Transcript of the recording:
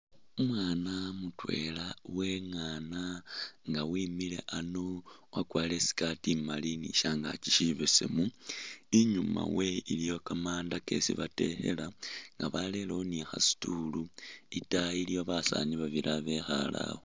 Umwaana mutwela uwengaana nga wimile a'ano wakwalire I'skati imaali ni shangaki shibesemu, i'nyuma we iliyo kamanda kesi batekhela nga barelewo ni khasitool itaayi iliwo basaani babili ba bekhale awo